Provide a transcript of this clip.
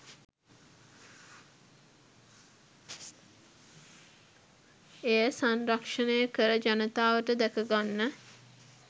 එය සංරක්ෂණය කර ජනතාවට දැකගන්න